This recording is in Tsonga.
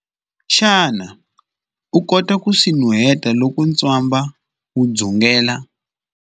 Xana u kota ku swi nuheta loko ntswamba wu dzungela?